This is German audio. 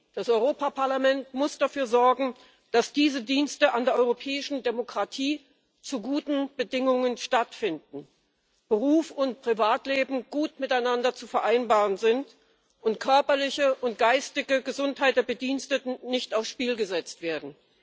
Das Europäische Parlament muss dafür sorgen, dass diese Dienste an der europäischen Demokratie zu guten Bedingungen stattfinden, Beruf und Privatleben gut miteinander zu vereinbaren sind und körperliche und geistige Gesundheit der Bediensteten nicht aufs Spiel gesetzt werden.